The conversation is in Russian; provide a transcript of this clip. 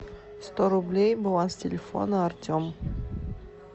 сто рублей баланс телефона артем